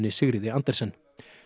Sigríði Andersen